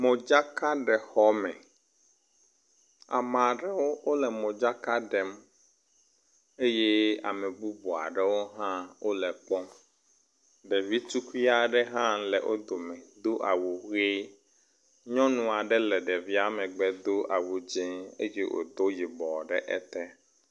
Modzakaɖexɔme, amea ɖewo wole modzaka ɖem eye ame bubu aɖewo hã wole kpɔm. Ɖevi tukui aɖe hã le wo dome do awu ʋe. Nyɔnu aɖe le ɖevia megbe do awu dzɛ̃ eye wòdo yibɔ ɖe ete.